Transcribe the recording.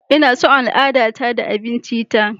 Ina son al'adata da abincinta.